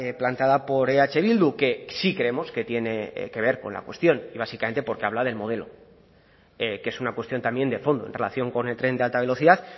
planteada por eh bildu que sí creemos que tiene que ver con la cuestión y básicamente porque habla del modelo que es una cuestión también de fondo en relación con el tren de alta velocidad